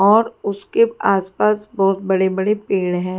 और उसके आसपास बहुत बड़े-बड़े पेड़ हैं।